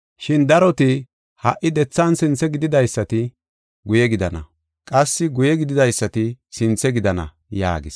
Shin daroti ha77i dethan sinthe gididaysati guye gidana, qassi guye gididaysati sinthe gidana” yaagis.